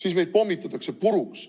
siis meid pommitatakse puruks.